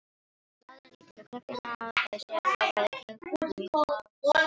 Maðurinn lítur á klukkuna og dæsir, hagræðir klútnum í hálsmálinu.